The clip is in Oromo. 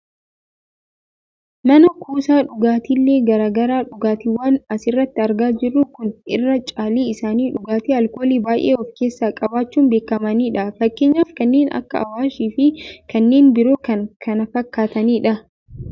Mana kuusaa dhugaatiilee gara garaa , dhugaatiwwan asirratti argaa jirru kun irri caalli isaanii dhugaatii aalkoolii baayyee of keessaa qabaachuun beekkamanidha. Fakkeenyaaf kanneen akka Awaash fi kanneen biroo kan kana fakkaatanidha.